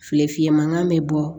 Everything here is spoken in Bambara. Feere fiyɛ mankan bɛ bɔ